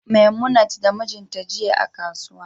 memunat da mijinta jiya a kasuwa